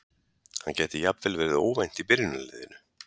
Hann gæti jafnvel verið óvænt í byrjunarliðinu.